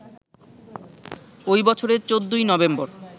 ওই বছরের ১৪ই নভেম্বর